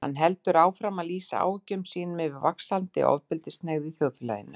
Hann heldur áfram að lýsa áhyggjum sínum yfir vaxandi ofbeldishneigð í þjóðfélaginu.